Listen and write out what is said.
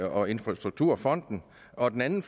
og infrastrukturfonden og den anden